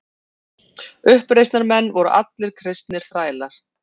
Uppreisnarmenn voru allir kristnir þrælar.